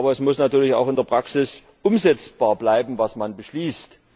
Aber es muss natürlich auch in der Praxis umsetzbar bleiben, was man beschließt.